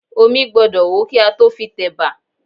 Omí gbọ́dọ̀ hó kí a tó fi tẹ̀bà